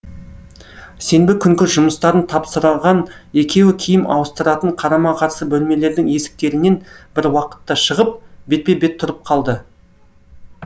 сенбі күнгі жұмыстарын тапсырған екеуі киім ауыстыратын қарама қарсы бөлмелердің есіктерінен бір уақытта шығып бетпе бет тұрып қалды